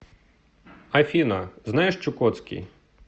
афина знаешь чукотский